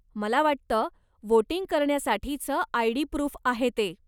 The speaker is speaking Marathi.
मला वाटतं, वोटिंग करण्यासाठीचं आय.डी. प्रुफ आहे ते.